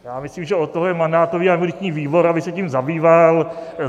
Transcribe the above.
Já myslím, že od toho máme mandátový a imunitní výbor, aby se tím zabýval.